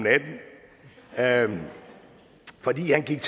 natten fordi han gik